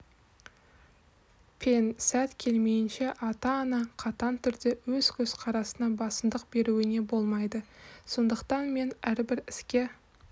пен сәт келмейінше ата-ана қатаң түрде өз көзқарасына басымдық беруіңе болмайды сондықтан мен әрбір іске